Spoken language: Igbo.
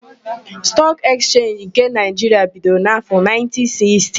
Stọọk Ekchenji nke Naịjiria bidoro n'áfọ,1960.